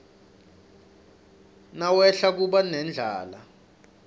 nawehla kuba nendlala